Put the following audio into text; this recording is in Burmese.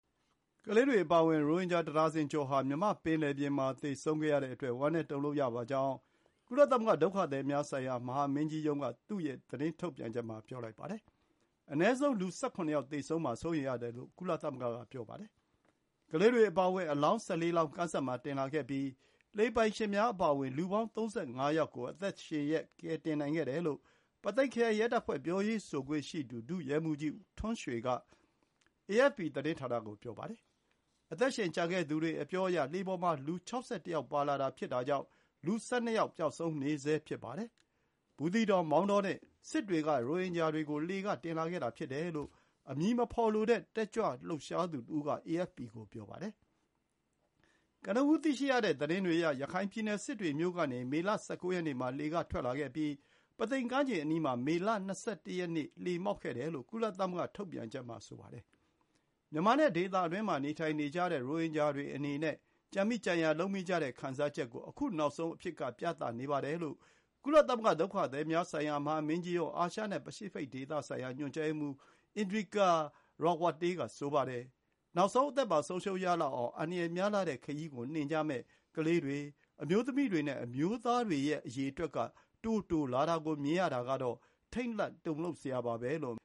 ကလေးတွေအပါအဝင် ရိုဟင်ဂျာတဒါဇင်ကျော်ဟာ မြန်မာ့ပင်လယ်ပြင်မှာ သေဆုံးခဲ့ရတဲ့အတွက် ဝမ်းနည်းတုန်လှုပ်ရပါကြောင်း ကုလသမဂ္ဂ ဒုက္ခသည်များဆိုင်ရာ မဟာမင်းကြီးရုံးက သူ့ရဲ့သတင်းထုတ်ပြန်ချက်မှာ ပြောလိုက်ပါတယ်။ အနည်းဆုံး လူ ၁၇ ယောက် သေဆုံးမှာ စိုးရိမ်ရတယ်လို့ ကုလသမဂ္ဂက ပြောပါတယ်။ ကလေးတွေအပါအဝင် အလောင်း ၁၄ လောင်း သောင်တင်လာခဲ့ပြီး လှေပိုင်ရှင်များ အပါအဝင် လူပေါင်း ၃၅ ယောက်ကို အသက်ရှင်လျက် ကယ်တင်နိုင်ခဲ့တယ်လို့ ပုသိမ်ခရိုင် ရဲတပ်ဖွဲ့ ပြောရေးဆိုခွင့် ရှိသူ ဒုရဲမှူးကြီးထွန်းရွှေက AFP သတင်းဌာနကို ပြောပါတယ်။ အသက်ရှင်ကျန်ခဲ့သူတွေ အပြောအရ လှေပေါ်မှာ လူ ၆၁ ယောက် ပါလာတာ ဖြစ်တာကြောင့် လူ ၁၂ ယောက် ပျောက်ဆုံးနေဆဲ ဖြစ်ပါတယ်။ ဘူးသီးတောင်၊ မောင်းတောနဲ့ စစ်တွေက ရိုဟင်ဂျာတွေကိုတင်လာတဲ့လှေဖြစ်တယ်လို့ အမည်မဖော်လိုတဲ့ တက်ကြွလှုပ်ရှားသူတဦးက AFP ကို ပြောပါတယ်။ ကနဦး သိရတဲ့သတင်းတွေအရ ရခိုင်ပြည်နယ် စစ်တွေမြို့ကနေ မေလ ၁၉ ရက်နေ့မှာ လှေက ထွက်လာခဲ့ပြီး ပုသိမ်ကမ်းခြေအနီးမှာ မေလ ၂၁ ရက်နေ့က လှေမှောက်ခဲ့တယ်လို့ ကုလသမဂ္ဂ ထုတ်ပြန်ချက်မှာ ဆိုပါတယ်။ မြန်မာနဲ့ ဒေသတွင်းမှာ နေထိုင်နေကြတဲ့ ရိုဟင်ဂျာတွေခံစားနေရတဲ့ ကြံမိကြံရာလုပ်မိကြတဲ့ ခံစားချက်ကို ခု နောက်ဆုံးအဖြစ်က ပြနေပါတယ်လို့ ကုလသမဂ္ဂ ဒုက္ခသည်များဆိုင်ရာ မဟာမင်းကြီးရုံး အာရှနဲ့ပစိဖိတ်ဒေသဆိုင်ရာ ညွှန်ကြားရေးမှူး Indrika Ratwatte က ဆိုပါတယ်။ “နောက်ဆုံး အသက်ပါ ဆုံးပါးရလောက်အောင် အန္တရာယ်များလှတဲ့ခရီးကို နှင်ကြမယ့် ကလေးတွေ၊ အမျိုးသမီးတွေနဲ့ အမျိုးသားတွေရဲ့ အရေအတွက်က တိုးလာတာကို မြင်ရတာကတော့ ထိတ်လန့် တုန်လှုပ်စရာပါ” လို့